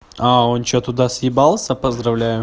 а он что туда съебался поздравляю